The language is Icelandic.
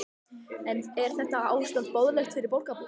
En er þetta ástand boðlegt fyrir borgarbúa?